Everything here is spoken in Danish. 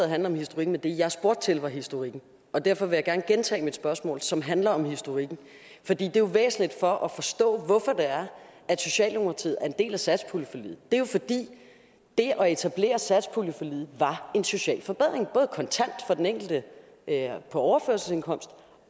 handler om historik men det jeg spurgte til var historikken og derfor vil jeg gerne gentage mit spørgsmål som handler om historikken for det er jo væsentligt for at forstå hvorfor det er at socialdemokratiet er en del af satspuljeforliget det er jo fordi det at etablere satspuljeforliget var en social forbedring både kontant for den enkelte på overførselsindkomst